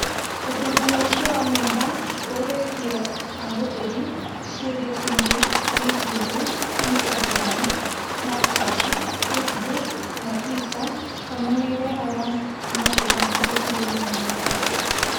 Ũthuthuria ũcio wa nenda ũrĩtie ahũthĩri ciũriĩ ciĩgiĩ YouTube, Instagram, Snapchat, Facebook na Twitter kana nĩ irehaga mathĩna mahutaine na mwĩrĩ